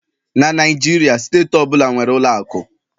na Naijiria, steeti ọ bụla nwere ụlọ akụ